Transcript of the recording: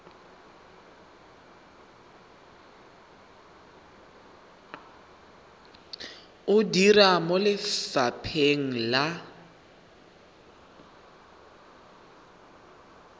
o dira mo lefapheng la